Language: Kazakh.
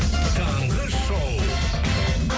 таңғы шоу